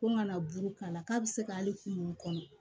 Ko ŋa na buru k'a la k'a bi se ka hali kunkolo kɔnɔ